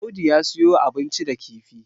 Audu ya siyo abinci da kifi